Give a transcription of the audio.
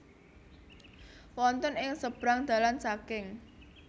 Wonten ing sebrang dalan saking